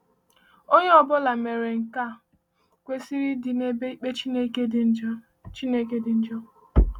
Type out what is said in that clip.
Onye ọ bụla mere nke a kwesiri ịdị n’ebe ikpe Chineke dị njọ. Chineke dị njọ.